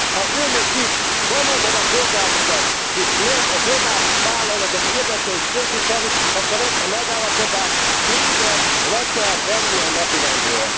Ha Önök itt valóban a polgárokat és nem a globális vállalatok érdekeit képviselik, akkor ezt a megállapodást végleg le kell venni a napirendről.